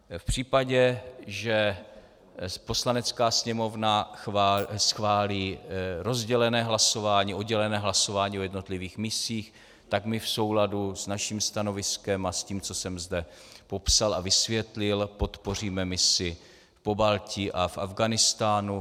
V případě, že Poslanecká sněmovna schválí rozdělené hlasování, oddělené hlasování o jednotlivých misích, tak my v souladu s naším stanoviskem a s tím, co jsem zde popsal a vysvětlil, podpoříme misi v Pobaltí a v Afghánistánu.